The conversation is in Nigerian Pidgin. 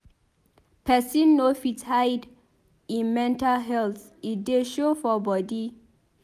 Pesin no fit hide im mental health e dey show for bodi.